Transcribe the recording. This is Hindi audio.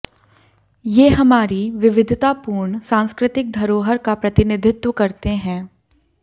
ये हमारी विविधतापूर्ण सांस्कृतिक धरोहर का प्रतिनिधित्व करते हैं